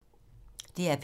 DR P3